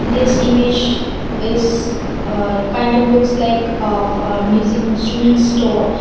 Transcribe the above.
this image is a kind of looks like ah of music instruments store.